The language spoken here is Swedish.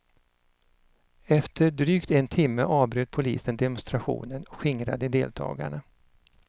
Efter drygt en timme avbröt polisen demonstrationen och skingrade deltagarna.